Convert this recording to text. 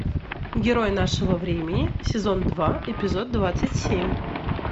герой нашего времени сезон два эпизод двадцать семь